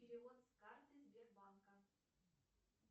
перевод с карты сбербанка